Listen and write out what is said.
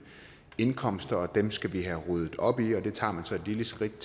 indkomster og dem skal vi have ryddet op i og det tager man så et lille skridt